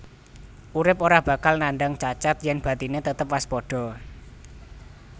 Urip ora bakal nandang cacat yèn batiné tetep waspada